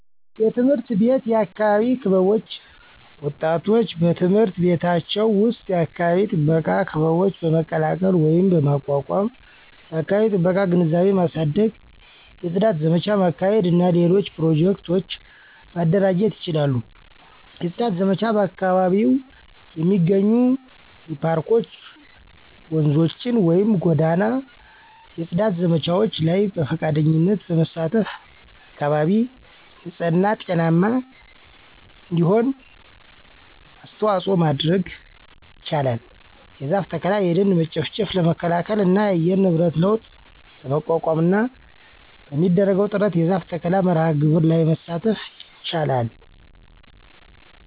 _የትምህርት ቤት የአካባቢ ክበቦች ወጣቶች በትምህርት ቤቶቻቸው ዉስጥ የአካባቢ ጥበቃ ክበቦች በመቀላቀል ወይም በማቋቋም የአከባቢ ጥበቃ ግንዛቤ ማሳደግ፣ የጽዳት ዘመቻ ማካሄድ እና ሌሎች ኘሮጀክቱ ማደራጀት ይችላሉ። የጽዳት ዘመቻ በአካባቢው የሚገኙ የፓርኮች፣፧ ወንዞችን ወይም ጎዳናው የጽዳት ዘመቻዎች ላይ በፈቃደኝነት በመሳተፍ አካባቢ ንጽህና ጤናማ እንዲሆን አስተዋጽኦ ማድረጉ ይችላል። የዛፍ ተከላ። የደን መጨፍጨፍ ለመከላከል እና የአየር ንብረት ለውጥ ለመቋቋምና በሚደረገው ጥረት የዛፍ ተከላ መርሐ ግብሮች ላይ መሳተፍ ይችላል